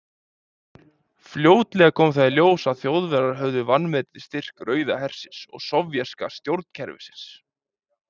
Fljótlega kom þó í ljós að Þjóðverjar höfðu vanmetið styrk Rauða hersins og sovéska stjórnkerfisins.